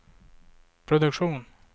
produktion